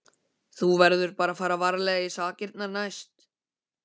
Þú verður bara að fara varlegar í sakirnar næst.